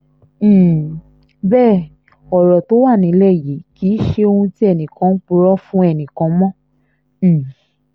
bí wọ́n bá sọ òótọ́ fún wa ní ìfẹ̀míṣòfò yìí kò ní í tó eléyìí rárá